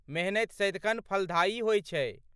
मेहनति सदिखन फलदायी होइ छै।